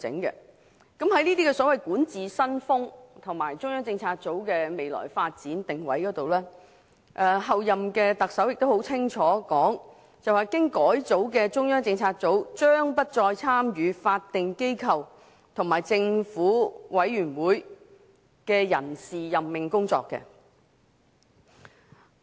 就這些所謂管治新風格和中央政策組的未來發展定位而言，候任特首清楚表明經改組的中央政策組將不再參與法定機構和政府委員會的人事任命工作。